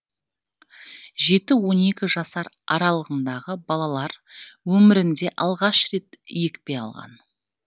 жеті он екі жас аралығындағы балалар өмірінде алғаш рет екпе алған